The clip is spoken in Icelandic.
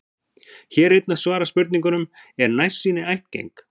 Hér er einnig svarað spurningunum: Er nærsýni ættgeng?